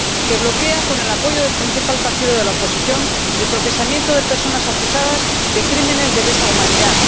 que bloquea, con el apoyo del principal partido de la oposición, el procesamiento de personas acusadas de crímenes de lesa humanidad